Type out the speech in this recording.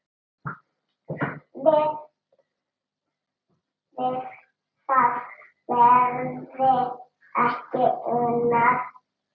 Við það verði ekki unað.